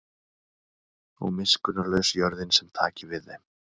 Og miskunnarlaus jörðin sem taki við þeim.